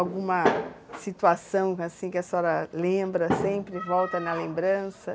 Alguma situação, assim, senhora lembra sempre volta na lembrança?